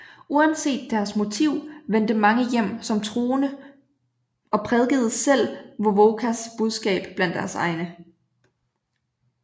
Uanset deres motiv vendte mange hjem som troende og prædikede selv Wovokas budskab blandt deres egne